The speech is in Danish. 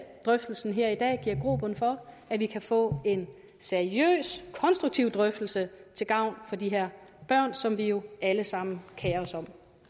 drøftelsen her i dag giver grobund for at vi kan få en seriøs konstruktiv drøftelse til gavn for de her børn som vi jo alle sammen kerer os om